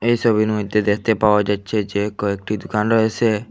এই ছবির মইধ্যে দেখতে পাওয়া যাচ্ছে যে কয়েকটি দুকান রয়েছে।